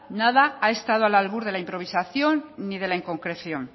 nada ha estado al albur de la improvisación ni de la inconcreción